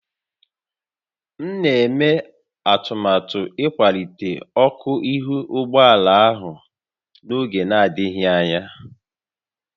M na-eme atụmatụ ịkwalite ọkụ ihu ụgbọ ala a n'oge adịghị anya